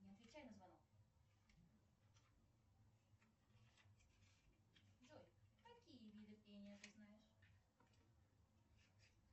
не отвечай на звонок джой какие виды пения ты знаешь